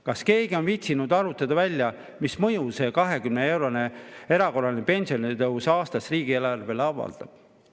Kas keegi on viitsinud arvutada välja, mis mõju see 20‑eurone erakorraline pensionitõus aasta jooksul riigieelarvele avaldab?